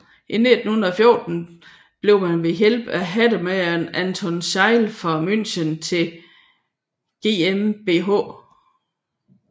I 1914 blev man ved hjælp af hattemageren Anton Seidl fra München til GmbH